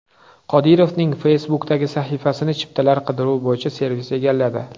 Qodirovning Facebook’dagi sahifasini chiptalar qidiruvi bo‘yicha servis egalladi.